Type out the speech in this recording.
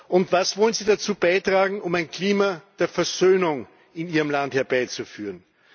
Und was wollen Sie dazu beitragen, um ein Klima der Versöhnung in Ihrem Land herbeizuführen?